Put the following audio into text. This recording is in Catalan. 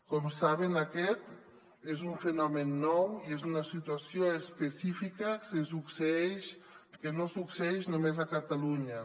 com saben aquest és un fenomen nou i és una situació específica que no succeeix només a catalunya